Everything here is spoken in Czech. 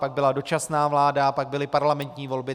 Pak byla dočasná vláda, pak byly parlamentní volby.